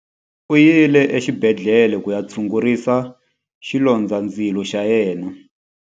U yile exibedhlele ku ya tshungurisa xilondzandzilo xa yena.